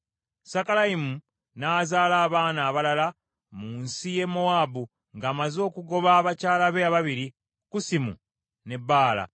Sakalayimu n’azaala abaana abalala mu nsi y’e Mowaabu, ng’amaze okugoba abakyala be ababiri, Kusimu ne Baala.